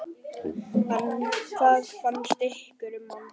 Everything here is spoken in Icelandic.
Hvað fannst ykkur um hann?